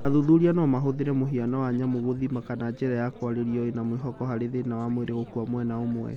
Athuthuria nomahũthĩre mũhiano wa nyamũ gũthima kana njĩra ya kwarĩrio ĩna mwĩhoko harĩ thĩna wa mwĩrĩ gũkua mwena ũmwe